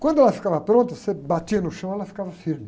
Quando ela ficava pronta, você batia no chão e ela ficava firme.